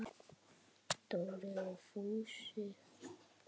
Dóri! sagði Fúsi.